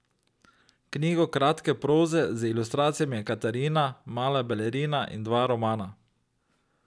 Knjigo kratke proze z ilustracijami Katarina, mala balerina in dva romana.